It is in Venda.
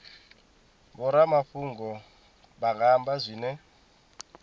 vhoramafhungo vha nga amba zwine